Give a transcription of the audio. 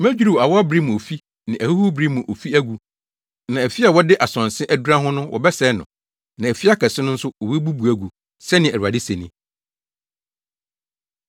Medwiriw awɔwbere mu ofi ne ahuhurubere mu ofi agu; na afi a wɔde asonse adura ho no wɔbɛsɛe no na afi akɛse no nso wobebubu agu,” sɛnea Awurade se ni.